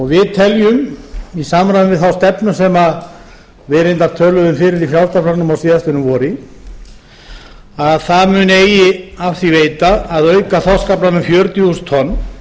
við teljum í samræmi við þá stefnu sem við reyndar töluðum fyrir í frjálslynda flokknum á síðastliðnu vori að það megi eigi af því veita að auka þorskaflann um fjörutíu þúsund tonn